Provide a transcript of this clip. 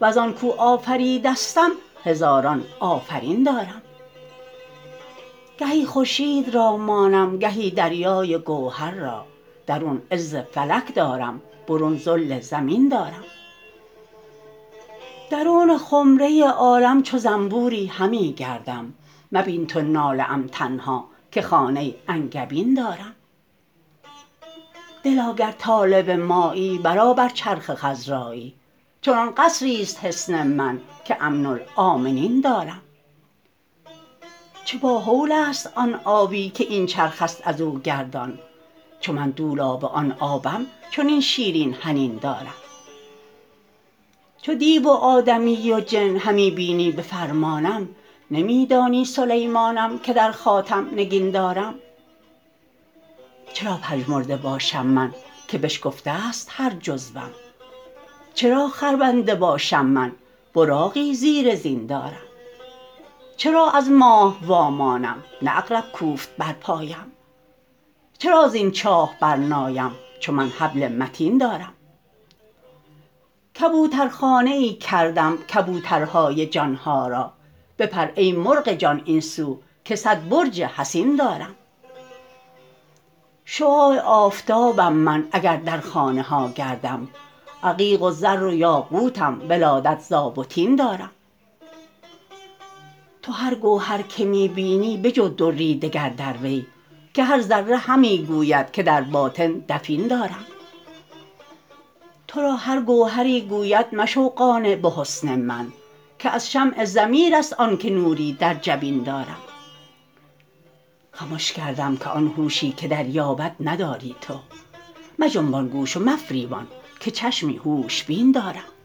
وزان کو آفریدستم هزاران آفرین دارم گهی خورشید را مانم گهی دریای گوهر را درون عز فلک دارم برون ذل زمین دارم درون خمره عالم چو زنبوری همی گردم مبین تو ناله ام تنها که خانه انگبین دارم دلا گر طالب مایی برآ بر چرخ خضرایی چنان قصری است حصن من که امن الؤمنین دارم چه باهول است آن آبی که این چرخ است از او گردان چو من دولاب آن آبم چنین شیرین حنین دارم چو دیو و آدمی و جن همی بینی به فرمانم نمی دانی سلیمانم که در خاتم نگین دارم چرا پژمرده باشم من که بشکفته ست هر جزوم چرا خربنده باشم من براقی زیر زین دارم چرا از ماه وامانم نه عقرب کوفت بر پایم چرا زین چاه برنایم چون من حبل متین دارم کبوترخانه ای کردم کبوترهای جان ها را بپر ای مرغ جان این سو که صد برج حصین دارم شعاع آفتابم من اگر در خانه ها گردم عقیق و زر و یاقوتم ولادت ز آب و طین دارم تو هر گوهر که می بینی بجو دری دگر در وی که هر ذره همی گوید که در باطن دفین دارم تو را هر گوهری گوید مشو قانع به حسن من که از شمع ضمیر است آن که نوری در جبین دارم خمش کردم که آن هوشی که دریابد نداری تو مجنبان گوش و مفریبان که چشمی هوش بین دارم